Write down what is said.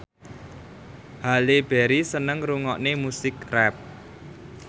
Halle Berry seneng ngrungokne musik rap